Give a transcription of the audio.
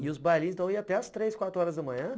E os bailinhos, então, iam até às três, quatro horas da manhã?